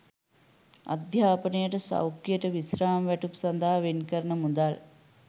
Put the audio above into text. අධ්‍යාපනයට සෞඛ්‍යයට විශ්‍රාම වැටුප් සඳහා වෙන් කරන මුදල්